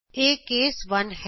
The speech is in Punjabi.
ਇਹ ਕੇਸ 1 ਹੈ